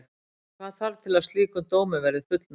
Hvað þarf til að slíkum dómi verði fullnægt?